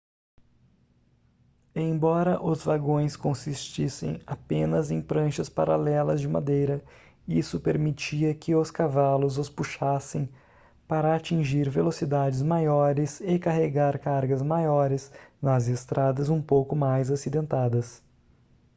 embora os vagões consistissem apenas em pranchas paralelas de madeira isto permitia que os cavalos os puxassem para atingir velocidades maiores e carregar cargas maiores nas estradas um pouco mais acidentadas